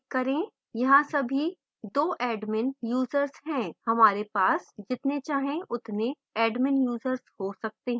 यहाँ अभी 2 admin users हैं हमारे पास जितने चाहे उतने admin users हो सकते हैं